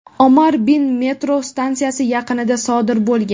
Omar bin metro stansiyasi yaqinida sodir bo‘lgan.